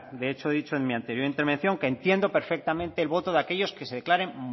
de hecho he dicho en mi anterior intervención que entiendo perfectamente el voto de aquellos que se declaren